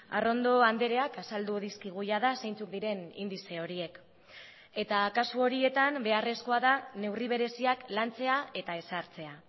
arrondo andreak azaldu dizkigu jada zeintzuk diren indize horiek eta kasu horietan beharrezkoa da neurri bereziak lantzea eta ezartzea